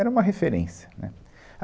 Era uma referência, né.